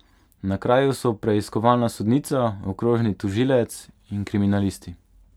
Na kraju so preiskovalna sodnica, okrožni tožilec in kriminalisti.